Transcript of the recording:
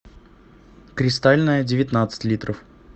кристальная девятнадцать литров